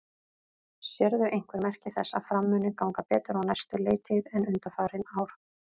Sérðu einhver merki þess að Fram muni ganga betur á næstu leiktíð en undanfarin ár?